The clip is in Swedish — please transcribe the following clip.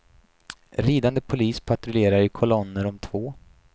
Ridande polis patrullerar i kolonner om två.